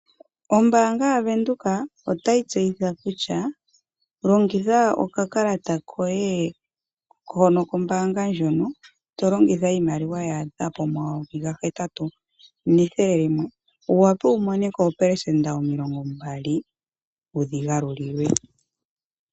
Ombaanga ya Venduka otayi tseyitha kutya, longitha oka kalata koye hono kombaanga ndjono, to longitha iimaliwa ya a dha po ma yovi N$ 8100,wu wapwe wu mone ko 20%, wu dhi ga lulilwe.